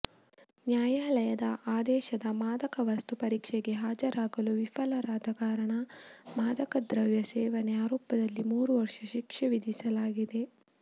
ನ್ಯಾಯಾಲಯದ ಆದೇಶದ ಮಾದಕವಸ್ತು ಪರೀಕ್ಷೆಗೆ ಹಾಜರಾಗಲು ವಿಫಲವಾದ ಕಾರಣ ಮಾದಕ ದ್ರವ್ಯ ಸೇವನೆ ಆರೋಪದಲ್ಲಿ ಮೂರು ವರ್ಷ ಶಿಕ್ಷೆ ವಿಧಿಸಲಾಗಿತ್ತು